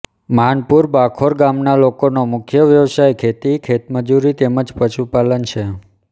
માનપુર બાંખોર ગામના લોકોનો મુખ્ય વ્યવસાય ખેતી ખેતમજૂરી તેમ જ પશુપાલન છે